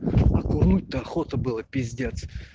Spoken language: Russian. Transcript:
курнуть то охота было пиздец